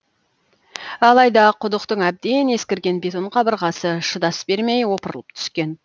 алайда құдықтың әбден ескірген бетон қабырғасы шыдас бермей опырылып түскен